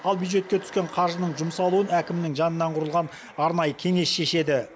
ал бюджетке түскен қаржының жұмсалуын әкімнің жанынан құрылған арнайы кеңес шешеді